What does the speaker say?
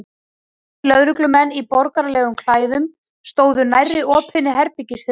Tveir lögreglumenn í borgaralegum klæðum stóðu nærri opinni herbergishurðinni.